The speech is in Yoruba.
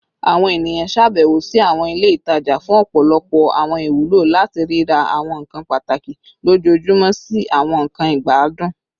Awọn eniyan ṣabẹwo si awọn ile itaja fun ọpọlọpọ awọn iwulo, lati rira awọn nkan pataki lojoojumọ si awọn nkan igbadun